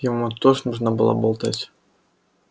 ему тоже нужно было болтать